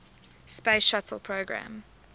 space shuttle program